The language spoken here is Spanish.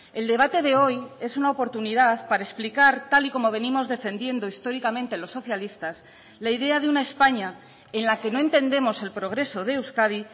el debate de hoy es una oportunidad para explicar tal y como venimos defendiendo históricamente los socialistas la idea de una españa en la que no entendemos el progreso de euskadi